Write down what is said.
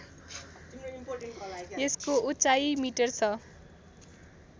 यसको उचाइ मिटर छ